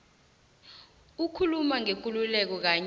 ukukhuluma ngekululeko kanye